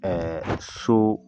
so